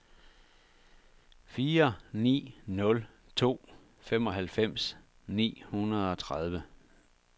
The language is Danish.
fire ni nul to femoghalvfems ni hundrede og tredive